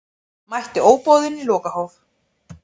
Mætti óboðinn í lokahóf